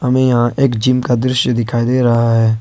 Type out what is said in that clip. में यहां एक जीम का दृश्य दिखाई दे रहा है।